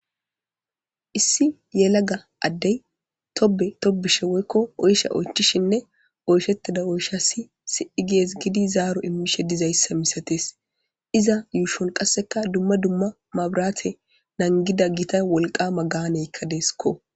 issi yelaga addey tobe tobishe woykko oysha oychishinne oyshettida oysha si si7i gees gidi zaaro immishe dizayssa misatees iza yuushon qasseka dumma dumma mabraate nangida gita wolqama gaaneykka deeskko